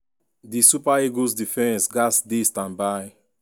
di super eagles defence gatz dey standby.